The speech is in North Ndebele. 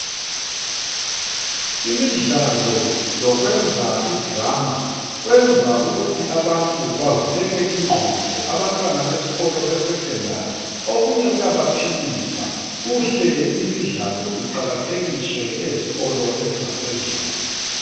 Imidlalo lokwenza idrama kwenza ukuthi abantu bavuleke ingqondo. Abantwana besikolo beSecondary okunye kuyabaphilisa. Kuhle imidlalo iqakathekiswe ezikolo ezingaphezulu.